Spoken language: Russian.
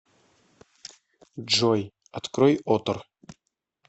джой открой отр